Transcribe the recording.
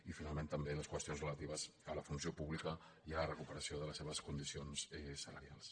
i finalment també les qüestions relatives a la funció pública i a la recuperació de les seves condi·cions salarials